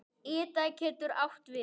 Ida getur átt við